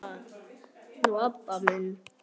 Fyrst Heiða, nú Abba hin.